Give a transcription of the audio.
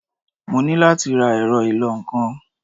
Mo ní láti ra ẹ̀rọ ìlọ-nǹkan.